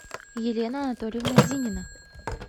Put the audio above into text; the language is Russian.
елена анатольевна зинина